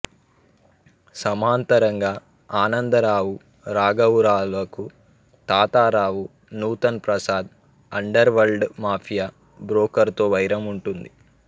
సమాంతరంగా ఆనంద రావు రాఘవరావులకు Tatarao Nutan Prasad underworld mafia బ్రోకర్తో వైరం ఉంటుంది